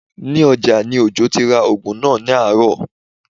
Ní ọjà ni Òjó ti ra oògùn náà ní àárọ̀